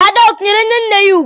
Ada akwanyeere nne nne ya ugwu?